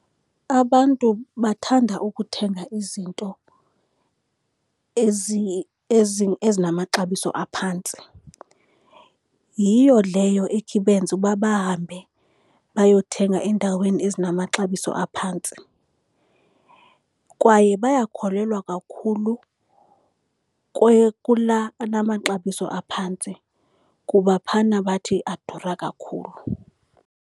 Abantu bathanda ukuthenga izinto ezinamaxabiso aphantsi. Yiyo leyo ekhe ibenze uba bahambe bayothenga endaweni ezinamaxabiso aphantsi, kwaye bayakholelwa kakhulu kula anamaxabiso aphantsi kuba phana bathi adura kakhulu.